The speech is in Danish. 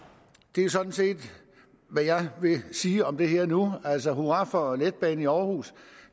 det er sådan set hvad jeg vil sige om det her nu altså hurra for letbanen i aarhus